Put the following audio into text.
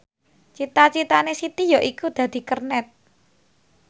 cita citane Siti yaiku dadi kernet